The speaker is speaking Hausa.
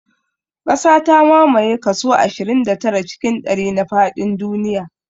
Ƙasa ta mamaye kaso ashirin da tara cikin ɗari na faɗin duniya